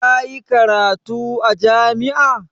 Ka yi karatu a jami'a?